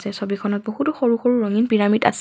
ছবিখনত বহুতো সৰু সৰু ৰঙীণ পিৰামিড আছে।